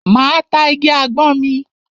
Máa ta igi àgbọn mi.